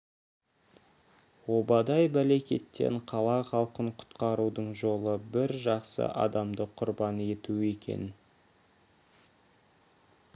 обадай бәлекеттен қала халқын құтқарудың жолы бір жақсы адамды құрбан ету екен